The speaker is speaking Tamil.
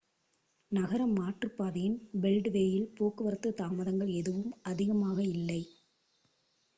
நகர மாற்றுப்பாதையின் பெல்ட்வேயில் போக்குவரத்து தாமதங்கள் எதுவும் அதிகமாக இல்லை